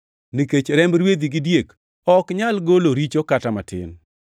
nikech remb rwedhi gi diek ok nyal golo richo kata matin.